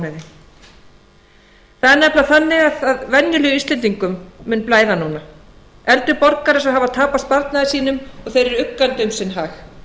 það er nefnilega þannig að venjulegum íslendingum mun blæða núna eldri borgarar sem hafa tapað sparnaði sínum og þeir eru uggandi um sinn hag